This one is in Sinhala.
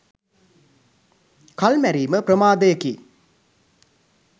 කල් මැරීම ප්‍රමාදයකි